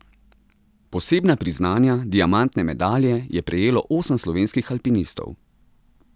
Posebna priznanja, diamantne medalje, je prejelo osem slovenskih alpinistov.